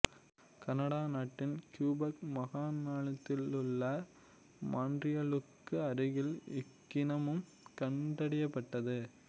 Canada நாட்டின் Quebec மாகாணத்திலுள்ள மாண்டிரியலுக்கு அருகில் இக்கனிமம் கண்டறியப்பட்டது